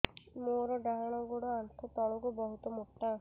ମୋର ଡାହାଣ ଗୋଡ ଆଣ୍ଠୁ ତଳୁକୁ ବହୁତ ମୋଟା